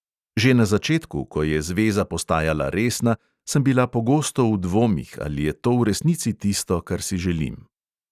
Že na začetku, ko je zveza postajala resna, sem bila pogosto v dvomih, ali je to v resnici tisto, kar si želim.